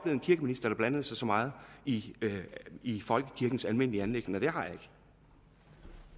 en kirkeminister der blandede sig så meget i i folkekirkens almindelige anliggender det har